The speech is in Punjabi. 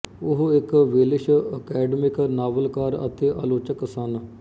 ਉਹ ਇੱਕ ਵੇਲਸ਼ ਅਕੈਡਮਿਕ ਨਾਵਲਕਾਰ ਅਤੇ ਆਲੋਚਕ ਸਨ